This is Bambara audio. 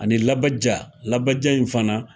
Ani labaja. Labaja in fana.